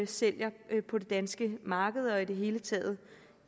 sælger på det danske marked det i det hele taget